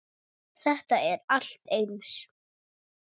Þetta er allt eins!